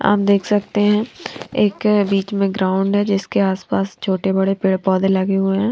आप देख सकते हैं एक बीच में ग्राउंड है जीसके आस पास छोटे बड़े पेड़ पौधे लगे हुए हैं।